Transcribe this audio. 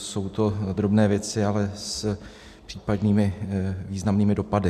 Jsou to drobné věci, ale s případnými významnými dopady.